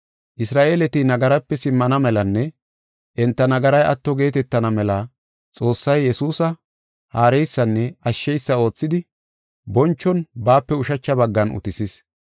Isra7eeleti nagaraape simmana melanne enta nagaray atto geetetana mela Xoossay Yesuusa haareysanne ashsheysa oothidi bonchon baape ushacha baggan utisis.